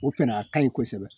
O fana a ka ɲi kosɛbɛ